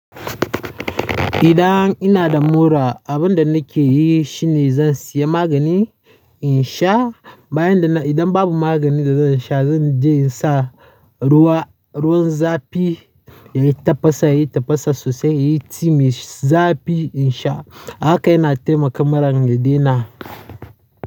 Idan ina da mura abin da nake yi shine zan siya magani in sha. Bayan da na, idan babu maganin da zan sha zan je in sa ruwa, ruwan zafi yayi tafasa, yayi tafasa sosai, yayi team yai, zafi in sha. Ahaka yana taimaka muran yadaina.